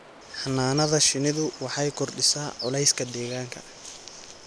Xannaanada shinnidu waxay kordhisaa culayska deegaanka.